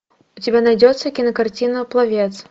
у тебя найдется кинокартина пловец